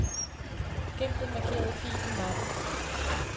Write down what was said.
Gem den markerede fil i mappen.